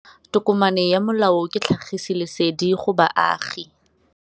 Tokomane ya molao ke tlhagisi lesedi go baagi.